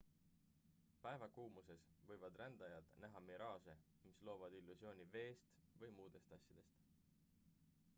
päevakuumuses võivad rändajad näha miraaže mis loovad illusiooni veest või muudest asjadest